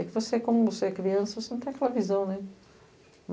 É que você, quando você é criança, não tem aquela visão.